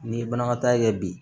Ni banakɔtaa ye kɛ bi